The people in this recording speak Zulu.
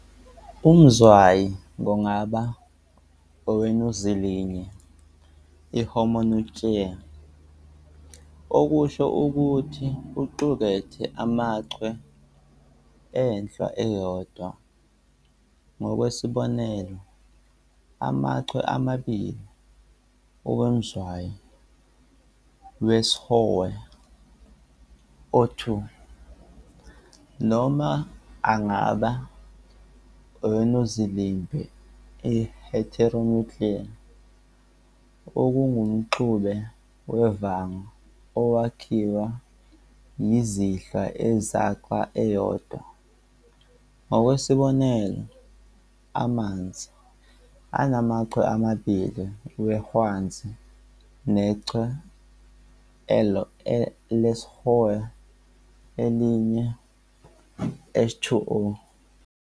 Umzwayi kungaba owenuzilinye "homonuclear", okusho ukuthi uqukethe amaChwe enhlwa eyodwa, ngokwesibonelo, amaChwe amabili womzwayi wesOhwe, O2, noma angaba awenuzilimbe "heteronuclear", okungumXube wevanga owakhiwa yizinhlwa ezeqa eyodwa, ngokwesibonelo, amanzi, anamachwe amabili weHwanzi nechwe lesOhwe elinye, H2O.